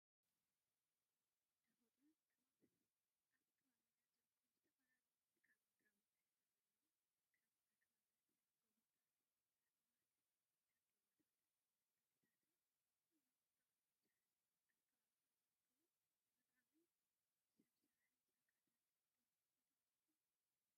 ተፈጥሮን ከባብን፡- ኣብ ከባቢና ዝርከቡ ዝተፈላለዩ መልክኣ-ምድራዊ ትሕዝቶ ዘለዎም ከም ኣኽራናት ወይ ጎቦታት፣ እፅዋት፣ ሽንጥሮታትን መንገዲታት ኩሎም ኣጠቓሊሉ ዝሓዘ እዩ፡፡ ካብ ከባቢኹም ዝርከቡ ተፈጥሮኣዊን ሰብ ስራሕን ፀጋታት ዶ ምጠቐስኩም?